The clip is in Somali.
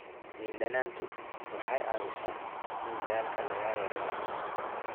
Liin dhanaantu waxa ay caawisaa in daalka laga yareeyo.